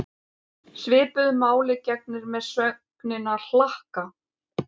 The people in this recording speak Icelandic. Svipuðu máli gegnir með sögnina hlakka.